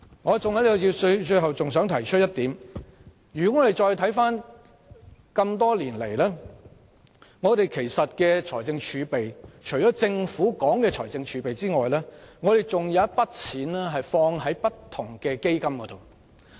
我最後想提出的一點是回顧多年來的預算案，除了政府提到的財政儲備外，其實還有一些錢投放在不同基金。